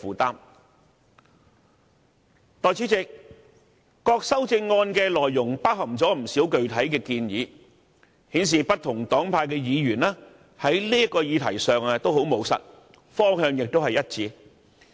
代理主席，各項修正案的內容包含了不少具體建議，顯示不同黨派的議員在這個議題上都很務實，方向亦一致。